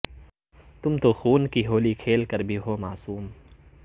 تم تو خون کی ہولی کھیل کر بھی ہو معصوم